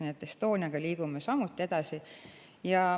Nii et Estoniaga liigume samuti edasi.